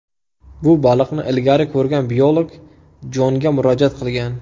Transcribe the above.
Bu baliqni ilgari ko‘rgan biolog Jonga murojaat qilgan.